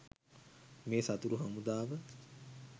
මේ සතුරු හමුදාව.